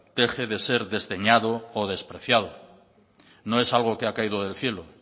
deje de ser desdeñado o despreciado no es algo que ha caído del cielo